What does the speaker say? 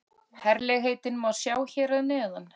Herlegheitin má sjá hér að neðan